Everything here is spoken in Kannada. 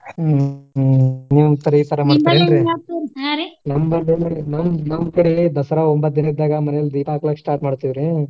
ಇತರ ಮಾಡ್ತಾರೇನ್ರಿ. ನಿಮ್ಮಲ್ಲಿ ನಮ್ಮ್ ಕಡೆರಿ ದಸರಾ ಒಂಬತ್ತ ದಿನಾ ಇದ್ದಾಗ ಮನೇಲಿ ದೀಪಾ ಹಾಕಕ್ start ಮಾಡ್ತೇವ್ರಿ.